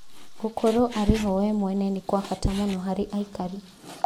Gũkorwo arĩ ho we mwene nĩ kwa bata mũno harĩ aikari